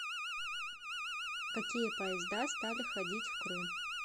какие поезда стали ходить в крым